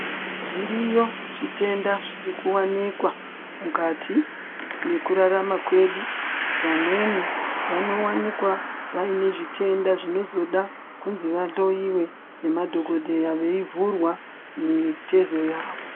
Zviriyo zvitenda zvirikuwanikwa mukati mekrarama kwedu. Vamweni vanowanikwa vayinezvitenda zvinozoda kuti vahloyiwe nemadhokodheya veyivhurwa mitezo yavo.